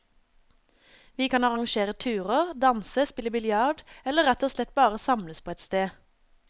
Vi kan arrangere turer, danse, spille biljard, eller rett og slett bare samles på et sted.